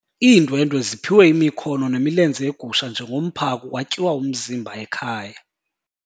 Iindwendwe ziphiwe imikhono nemilenze yegusha njengomphako kwatyiwa umzimba ekhaya.